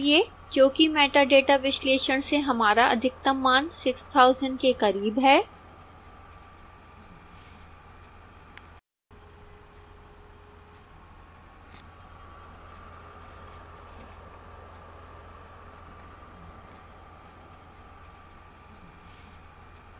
क्योंकि metadata विश्लेषण से हमारा अधिकतम मान 6000 के करीब है